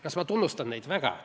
Kas ma tunnustan neid?